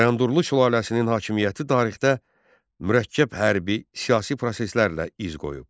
Bayandurlu sülaləsinin hakimiyyəti tarixdə mürəkkəb hərbi siyasi proseslərlə iz qoyub.